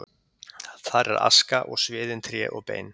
Þar er aska og sviðin tré og bein.